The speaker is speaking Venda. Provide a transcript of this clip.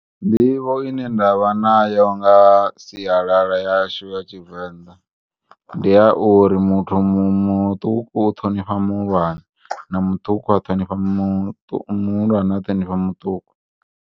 Nḓivho ine nda vha nayo nga sialala yashu ya Tshivenda, ndi yauri muthu muṱuku u ṱhonifha muhulwane na muṱuku a ṱhonifha mu na muhulwane a ṱhoifha muṱuku.